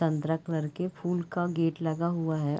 संतरा कलर के फूल का गेट लगा हुआ है।